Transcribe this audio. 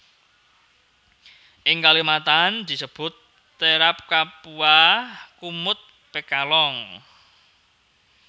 Ing Kalimantan disebut terap kapua kumut pekalong